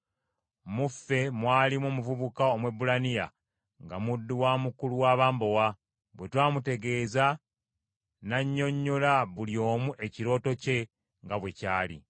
Mu ffe mwalimu omuvubuka Omwebbulaniya nga muddu wa mukulu w’abambowa; bwe twamutegeeza nannyonnyola buli omu ekirooto kye nga bwe kyali.